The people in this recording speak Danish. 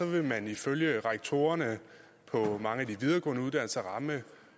vil man ifølge rektorerne på mange af de videregående uddannelser ramme